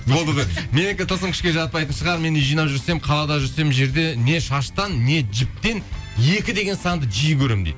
болды де менікі тылсым күшке жатпайтын шығар мен үй жинап жүрсем қалада жүрсем жерден не шаштан не жіптен екі деген санды жиі көремін дейді